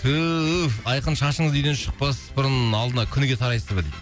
түф айқын шашыңызды үйден шықпас бұрын алдына күніге тарайсың ба дейді